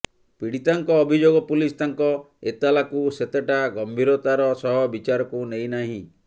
ପୀଡ଼ିତାଙ୍କ ଅଭିଯୋଗ ପୁଲିସ୍ ତାଙ୍କ ଏତଲାକୁ ସେତେଟା ଗମ୍ଭୀରତାର ସହ ବିଚାରକୁ ନେଇନାହିଁ